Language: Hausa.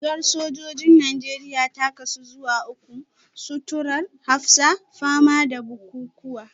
Rigar sojojin Najeriya ta kasu zuwa uku; suturar hafsa, fama da bukukuwa